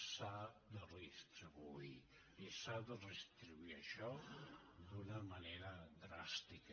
s’ha de redistribuir i s’ha de redistribuir això d’una manera dràstica